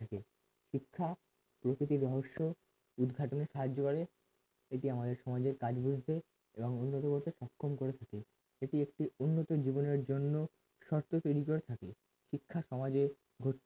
শিক্ষা প্রকৃতির রহস্য উদ্ঘাটনের সাহায্য করে এটি আমাদের সমাজের কাজ বলতে এবং উন্নত করতে সক্ষম করে তুলে এটি একটি উন্নত জীবনের জন্য শর্ত তৈরি করে থাকে শিক্ষা সমাজের